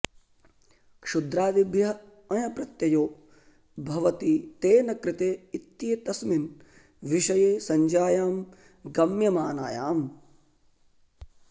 क्षुद्रादिभ्यः अञ् प्रत्ययो भवति तेन कृते इत्येतस्मिन् विषये संज्ञायां गम्यमानायाम्